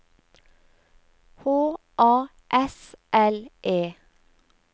H A S L E